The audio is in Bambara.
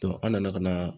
an nana ka na